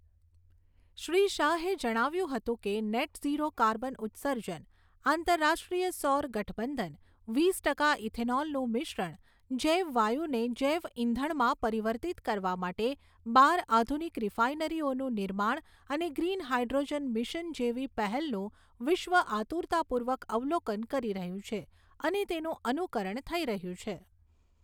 શ્રી શાહે જણાવ્યુંં હતું કે, નેટ ઝીરો કાર્બન ઉત્સર્જન, આંતરરાષ્ટ્રીય સૌર ગઠબંધન, વીસ ટકા ઇથેનોલનું મિશ્રણ, જૈવ વાયુને જૈવઇંધણમાં પરિવર્તિત કરવા માટે બાર આધુનિક રિફાઇનરીઓનું નિર્માણ અને ગ્રીન હાઇડ્રોજન મિશન જેવી પહેલનું વિશ્વ આતુરતાપૂર્વક અવલોકન કરી રહ્યું છે અને તેનું અનુકરણ થઈ રહ્યું છે.